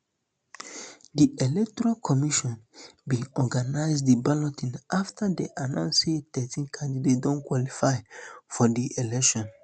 di electoral commission bin organize di balloting afta dey announce say thirteen candidates don qualify for di elections